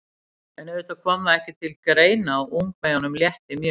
En auðvitað kom það ekki til greina og ungmeyjunum létti mjög.